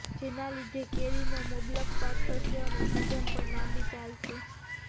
જેના લીધે કેરીનો મબલખ પાક થશે અને સીઝન પણ લાંબી ચાલશે